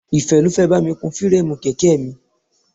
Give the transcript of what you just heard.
Ìfẹ́ ló fẹ́ bá mi kun fireemu kèké mi.